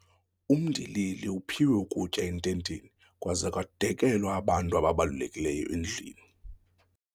Umndilili uphiwe ukutya ententeni kwaze kwadekelwa abantu ababalulekileyo endlwini.